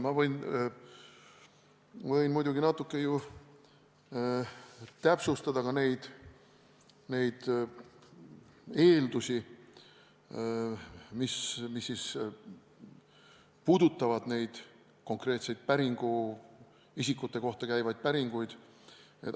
Ma võin muidugi natuke täpsustada ka neid eeldusi, mis puudutavad konkreetseid isikute kohta käivaid päringuid.